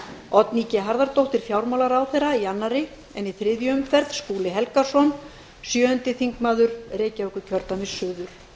oddný g harðardóttir fjármálaráðherra í annarri en í þriðju umferð skúli helgason sjöundi þingmaður reykjavíkurkjördæmis suður